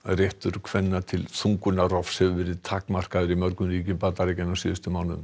réttur kvenna til þungunarrofs hefur verið takmarkaður í mörgum ríkjum Bandaríkjanna á síðustu mánuðum